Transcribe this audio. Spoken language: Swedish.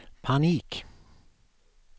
panik